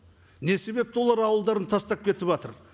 не себепті олар ауылдарын тастап кетіватыр